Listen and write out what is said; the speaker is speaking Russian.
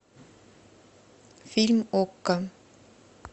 фильм окко